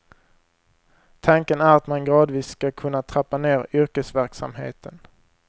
Tanken är att man gradvis ska kunna trappa ner yrkesverksamheten.